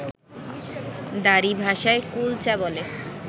দারী ভাষায় কুলচা বলে